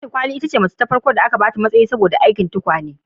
Ladi kwali ce macce ta farko da aka ba matsayi saboda aikin tukwane